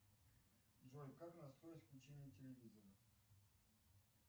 джой как настроить включение телевизора